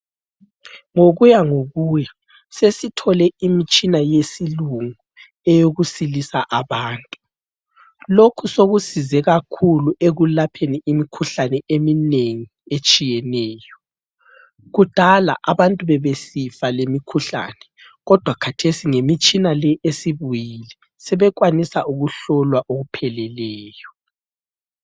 Ngokuya ngokuya sesithole imitshina yesilungu eyokusilisa abantu. Lokhu sokusize kakhulu ekulapheni imikhuhlane eminengi etshiyeneyo. Kudala abantu bebesifa lemikhuhlane, kodwa kathesi ngemitshina le esibuyile sebekwanisa ukuhlolwa okupheleleyo.